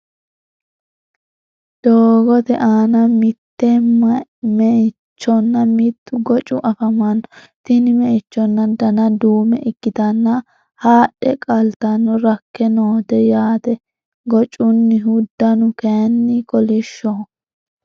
doogote aanna mitte me'ichonna mittu goccu afamanno tinni meichonno danna duume ikitanna haadhe qalatenno rakke noote yaate goccunihu dannu kayinni kolishoho.